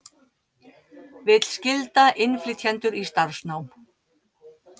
Vill skylda innflytjendur í starfsnám